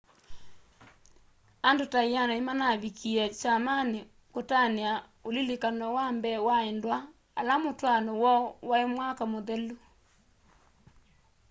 andû ta 100 nîmanavikie kyamanî kutania ulilikany'o wa mbee wa endwa ala mûtwaano woo waî mwaka mûthelu